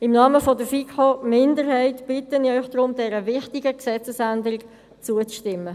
Im Namen der FiKo-Minderheit bitte ich Sie deshalb, dieser wichtigen Gesetzesänderung zuzustimmen.